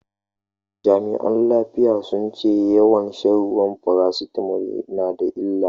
Jami'an lafiya sun ce yawan shan farasitamol yana da illa.